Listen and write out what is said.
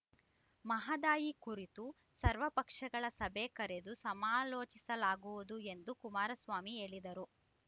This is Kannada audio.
ಮಹದಾಯಿ ಕುರಿತು ಸರ್ವ ಪಕ್ಷಗಳ ಸಭೆ ಕರೆದು ಸಮಾಲೋಚಿಸಲಾಗುವುದು ಎಂದು ಕುಮಾರಸ್ವಾಮಿ ಹೇಳಿದರು